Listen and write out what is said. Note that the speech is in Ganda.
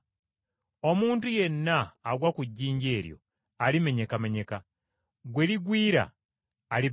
Omuntu yenna agwa ku jjinja eryo alibetentebwa, na buli gwe lirigwako lirimubetenta.”